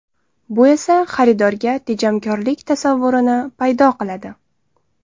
Bu esa xaridorda tejamkorlik tasavvurini paydo qiladi.